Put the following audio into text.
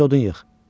Get odun yığ.